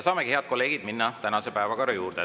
Saamegi, head kolleegid, minna tänase päevakorra juurde.